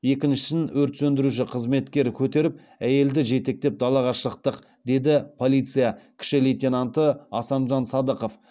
екіншісін өрт сөндіруші қызметкер көтеріп әйелді жетектеп далаға шықтық деді полиция кіші лейтенанты асанжан садықов